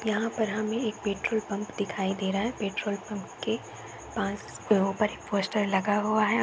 यहाँ पर हमें एक पेट्रोल पम्प दिखाई दे रहा है। पेट्रोल पम्प के पास ऊपर एक पोस्टर लगा हुआ है।